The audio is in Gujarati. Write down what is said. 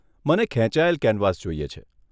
મને ખેંચાયેલ કેનવાસ જોઈએ છે.